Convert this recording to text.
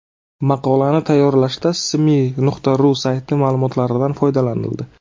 Maqolani tayyorlashda smi.ru sayti ma’lumotlaridan foydalanildi.